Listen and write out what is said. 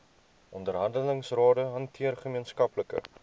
onderhandelingsrade hanteer gemeenskaplike